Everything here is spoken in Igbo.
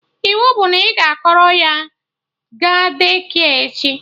Iwu bụ na ị ga-akpọrọ ya ga Daycare echi!